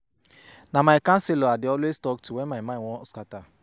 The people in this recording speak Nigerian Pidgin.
Na my counselor I dey always talk to wen my mind wan scatter.